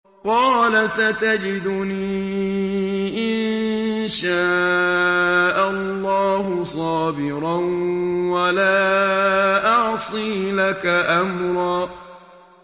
قَالَ سَتَجِدُنِي إِن شَاءَ اللَّهُ صَابِرًا وَلَا أَعْصِي لَكَ أَمْرًا